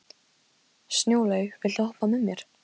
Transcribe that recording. Snjólaug, viltu hoppa með mér?